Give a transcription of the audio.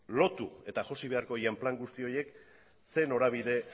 lotu eta josi beharko diren plan guzti horiek zein norabide